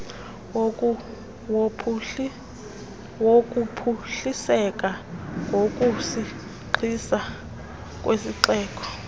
wokuphuhliseka ngokusisigxina kwesixeko